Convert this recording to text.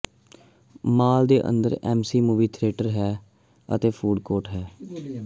ਮਾਲ ਦੇ ਅੰਦਰ AMC movie theatre ਹੈ ਅਤੇ ਫੂਡ ਕੋਰਟ ਹੈ